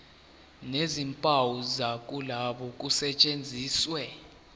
nezimpawu zokuloba kusetshenziswe